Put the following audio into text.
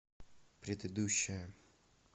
предыдущая